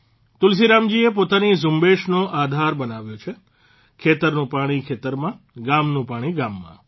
તુલસીરામજીએ પોતાની ઝુંબેશનો આધાર બનાવ્યો છે ખેતરનું પાણી ખેતરમાં ગામનું પાણી ગામમાં